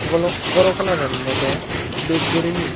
golo gorw colouran olodey dup gorini.